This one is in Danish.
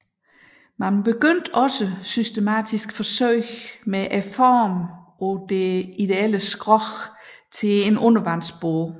Man begyndte også systematiske forsøg med formen på det ideelle skrog til en undervandsbåd